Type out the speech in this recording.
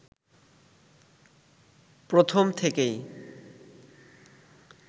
প্রথম থেকেই